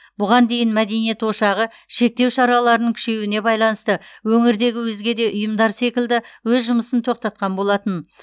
бұған дейін мәдениет ошағы шектеу шараларының күшеюіне байланысты өңірдегі өзге де ұйымдар секілді өз жұмысын тоқтатқан болатын